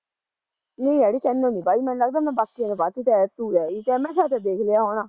ਨਹੀਂ ਅੜੀਏ ਤੇਨੂੰ ਨੀ ਪਈ ਮੈਨੂੰ ਲੱਗਦਾ ਮੈਂ ਬਾਕੀਆਂ ਨੂੰ ਪਾਤੀ ਤੂੰ ਰਹਿਗੀ, ਮੈਂ ਕਿਆ ਤੈ ਦੇਖਲਿਆ ਹੋਣਾ